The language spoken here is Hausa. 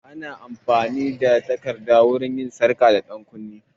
Akan yi amfani da takarda wurin yin sarka da ɗankunne